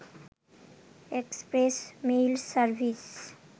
express mail service